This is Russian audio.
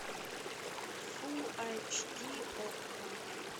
фулл айч ди окко